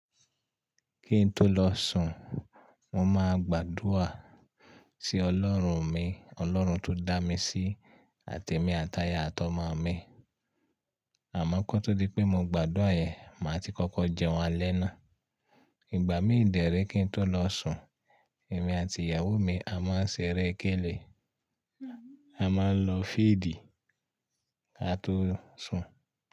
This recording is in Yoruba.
Kí n tó lọ sùn, mo máa gbàdúrà sí Ọlọ́run mi, Ọlọ́run tó dá mi sí àti èmi àti aya àti ọmọ mi. Àmọ́ kó tó di pé mo gbàdúrà yẹn, màá ti kókó jẹun alẹ́ náà. Ìgbà mí ìdérè kí n tó lọ sùn, èmi àti ìyàwó mi a máa ń ṣeré kélé, a máa ń lọ fídì á tó sùn.